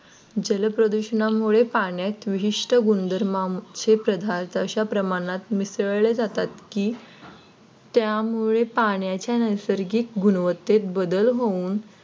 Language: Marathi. जलप्रदूषणामुळे पाण्यात विशिष्ट गुणधर्माचे पदार्थ अशा प्रमाणात मिसळले जातात की त्यामुळे पाण्याच्या नैसर्गिक गुणवत्तेत बदल होऊन